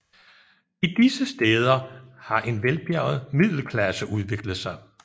I disse stæder har en velbjerget middelklasse udviklet sig